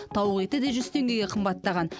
тауық еті де жүз теңгеге қымбаттаған